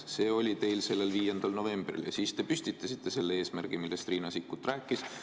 See oli teile teada 5. novembril, ja siis te püstitasite selle eesmärgi, millest Riina Sikkut juba rääkis.